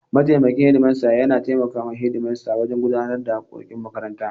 Mataimakin shedimasta yana taimakon shedimasta wajen gudanar da harkokin makaranta.